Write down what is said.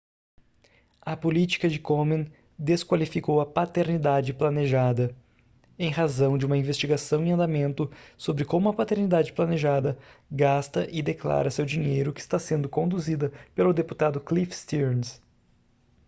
a política de komen desqualificou a paternidade planejada em razão de uma investigação em andamento sobre como a paternidade planejada gasta e declara seu dinheiro que está sendo conduzida pelo deputado cliff stearns